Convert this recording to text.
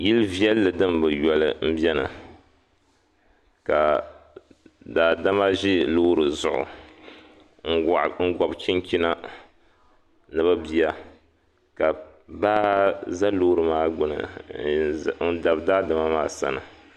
Yil' viɛlli dim bi yoli m-beni ka daadama ʒi loori zuɣu n-gɔbi chinchina ni bɛ bia ka baa za loori maa gbini n-dabi daadama maa sani.